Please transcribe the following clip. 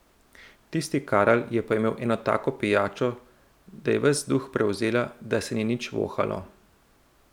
Tisti Karel je pa imel eno tako pijačo, da je ves duh prevzela, da se ni nič vohalo.